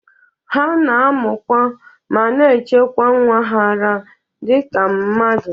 Ha na-amụkwa ma na-echekwa nwa ha ara dị ka mmadụ.